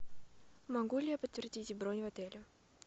могу ли я подтвердить бронь в отеле